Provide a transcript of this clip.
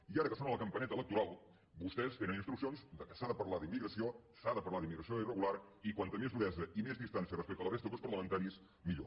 i ara que sona la campaneta electoral vostès tenen instruccions que s’ha de parlar d’immigració s’ha de parlar d’immigració irregular i com més duresa i més distància respecte a la resta de grups parlamentaris millor